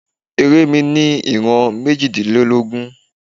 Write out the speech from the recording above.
Eré mi ní ìran méjìlélógún.